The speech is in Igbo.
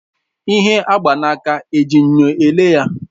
Ihe agba na aka eji enyo ele ya?